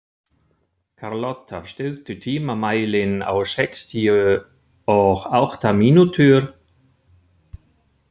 Karlotta, stilltu tímamælinn á sextíu og átta mínútur.